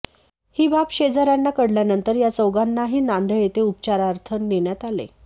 ही बाब शेजाऱ्यांना कळल्यानंतर या चौघांनाही नांदेड येथे उपचारार्थ नेण्यात आले